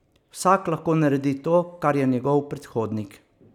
Vsak lahko naredi to, kar je njegov predhodnik.